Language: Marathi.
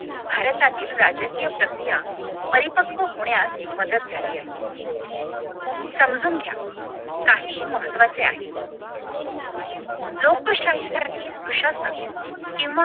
भारतातील राजकीय प्रक्रिया परिपक्व होण्यास मदत झाली आहे समजून घ्या काही महत्वाचे आहे लोकशाहीसाठी सुशासन किंवा